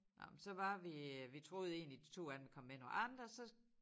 Nåh men så var vi øh vi troede egentlig de 2 andre ville komme med nogle andre så